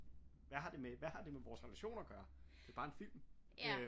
Hvad har det med hvad har det med vores relation at gøre det bare en film